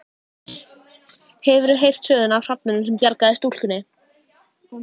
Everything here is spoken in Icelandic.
Hefurðu heyrt söguna af hrafninum sem bjargaði stúlkunni?